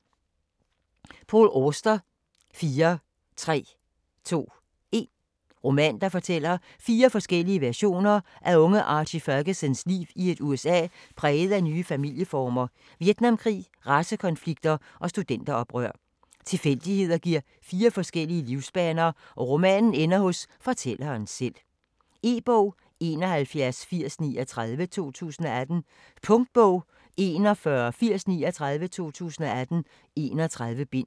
Auster, Paul: 4 3 2 1 Roman, der fortæller fire forskellige versioner af unge Archie Fergusons liv i et USA præget af nye familieformer, Vietnamkrig, racekonflikter og studenteroprør. Tilfældigheder giver fire forskellige livsbaner, og romanen ender hos fortælleren selv. E-bog 718039 2018. Punktbog 418039 2018. 31 bind.